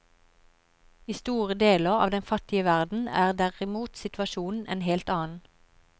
I store deler av den fattige verden er derimot situasjonen en helt annen.